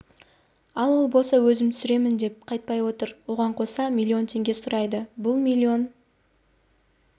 ал ол болса өзім түсіремін деп қайтпай отыр оған қоса миллион теңге сұрайды бұл миллион